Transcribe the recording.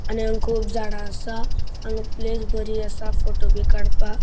आणि हांगा खूब झाडा आसा हांगा प्लेस बरी आसा फोटोबी काड़पाक.